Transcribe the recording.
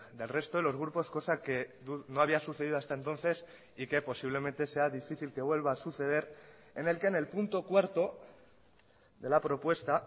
del resto de los grupos cosa que no había sucedido hasta entonces y que posiblemente sea difícil que vuelva a suceder en el que en el punto cuarto de la propuesta